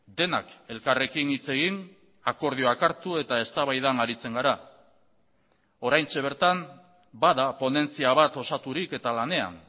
denak elkarrekin hitz egin akordioak hartu eta eztabaidan aritzen gara oraintxe bertan bada ponentzia bat osaturik eta lanean